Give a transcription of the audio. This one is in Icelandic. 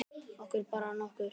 Okkur brá nokkuð.